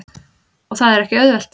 Og það er ekki auðvelt.